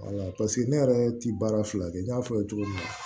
ne yɛrɛ ti baara fila kɛ n y'a fɔ cogo min na